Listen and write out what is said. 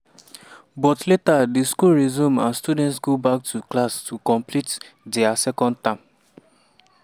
but later di schools resume and students go back to class to complete dia second term.